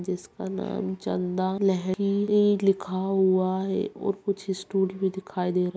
जिसका नाम चंदा लहरी ई लिखा हुआ है और कुछ स्टूल भी दिखाई दे रहें हैं।